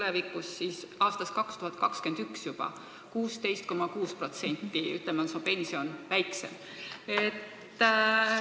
Aga aastast 2021 on sel juhul juba 16,6% su pension väiksem.